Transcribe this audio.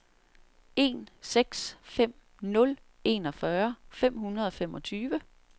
en seks fem nul enogfyrre fem hundrede og femogtyve